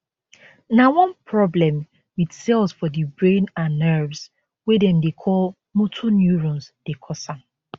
na one problem wit cells for di brain and nerves wey dem dey call motor neurones dey cause am